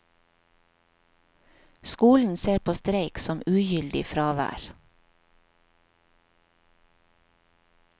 Skolen ser på streik som ugyldig fravær.